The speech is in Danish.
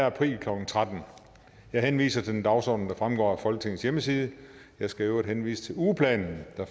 april klokken tretten jeg henviser til den dagsorden der fremgår af folketingets hjemmeside jeg skal i øvrigt henvise til ugeplanen der